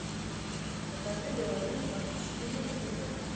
покажи беларусь двадцать четыре на тв